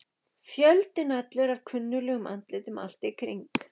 Fjöldinn allur af kunnuglegum andlitum allt í kring.